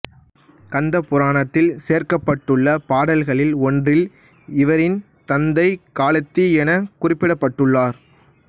கந்தபுராணத்தில் சேர்க்கப்பட்டுள்ள பாடல்கள் ஒன்றில் இவரின் தந்தை காளத்தி எனக் குறிப்பிடப்பட்டுள்ளார்